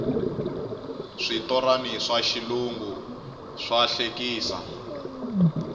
switorani swa xilungu swa hlekisa